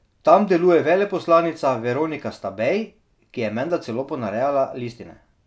Tam deluje veleposlanica Veronika Stabej, ki je menda celo ponarejala listine.